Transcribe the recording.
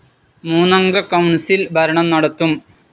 മൂന്നംഗ കൌൺസിൽ ഭരണം നടത്തും.